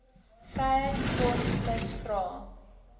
vryheids front plus vra